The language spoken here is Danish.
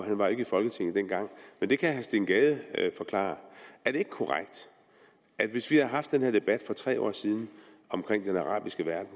han var ikke i folketinget dengang men det kan herre steen gade forklare er det ikke korrekt at hvis vi havde haft den her debat for tre år siden om den arabiske verden